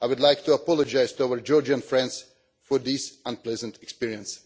I would like to apologise to our Georgian friends for this unpleasant experience.